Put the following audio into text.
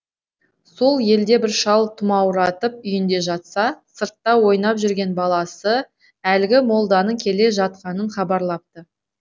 сол елде бір шал тұмауратып үйінде жатса сыртта ойнап жүрген баласы әлгі молданың келе жатқанын хабарлапты